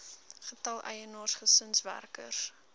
getal eienaars gesinswerkers